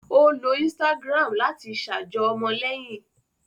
O ló Instagram láti ṣajọ ọmọléyìn